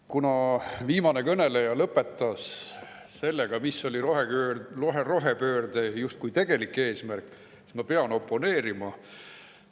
Kuna viimane kõneleja lõpetas sellega, mis oli rohepöörde justkui tegelik eesmärk, siis ma pean oponeerima.